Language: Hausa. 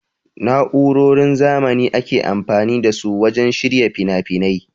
Na'urorin zamanin ake amfani da su wajen shirya finafinai.